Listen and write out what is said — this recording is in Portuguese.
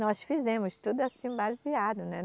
Nós fizemos tudo assim, baseado, né?